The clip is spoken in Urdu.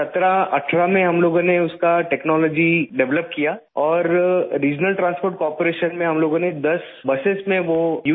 18 میں ہم لوگوں نے اس کی تکنالوجی ڈیولپ کی اور علاقائی نقل و حمل کارپوریشن میں ہم لوگوں نے 10 بسوں میں وہ استعمال کیا